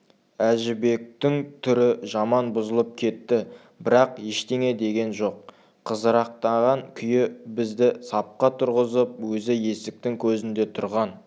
әжібектің түрі жаман бұзылып кетті бірақ ештеңе деген жоқ қызарақтаған күйі бізді сапқа тұрғызып өзі есіктің көзінде тұрған